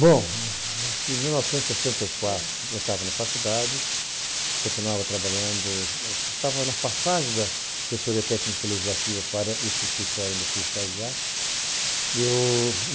Bom, acho que em mil novecentos e sessenta e quatro, eu estava na faculdade, continuava trabalhando, eu estava na passagem da assessoria técnico-legislativa para este escritório onde eu fui estagiar.